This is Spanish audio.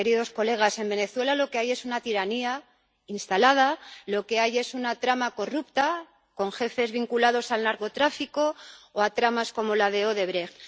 Queridos colegas, en Venezuela lo que hay es una tiranía instalada, lo que hay es una trama corrupta, con jefes vinculados al narcotráfico o a tramas como la de Odebrecht.